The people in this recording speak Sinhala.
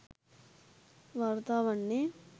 වාර්තා වන්නේ.